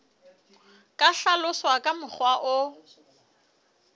ka hlaloswa ka mokgwa o